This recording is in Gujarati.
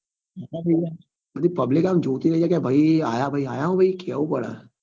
હા ભાઈ બધી public આમ જોતી રહી જાય કે ભાઈ આયા ભાઈ આયા હો ભાઈ કેવું પડે